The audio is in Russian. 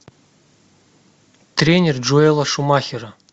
тренер джоэла шумахера